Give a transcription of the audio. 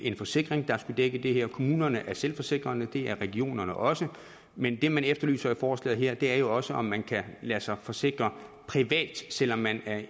en forsikring der kan dække det kommunerne er selvforsikrede og det er regionerne også men det man efterlyser i forslaget er jo også at man kan lade sig forsikre privat selv om man er